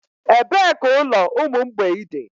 Ebee ka ụlọ ụmụ mgbei dị?